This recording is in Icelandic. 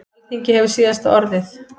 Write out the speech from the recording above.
Alþingi hefur síðasta orðið